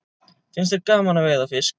Finnst þér gaman að veiða fisk?